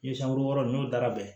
Yiri san wɔɔrɔ n'o dara bɛn